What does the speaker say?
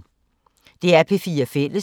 DR P4 Fælles